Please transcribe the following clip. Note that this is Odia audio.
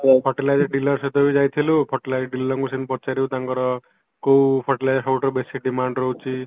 fertilizer driller ସହିତ ବି ଯାଇଥିଲୁ fertilizer drillerଙ୍କୁ ସେମତି ପଚାରିବୁ ତାଙ୍କର କୋଉ fertilizer ସବୁଠାରୁ ବେଶି demand ରହୁଚି